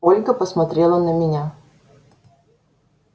ольга посмотрела на меня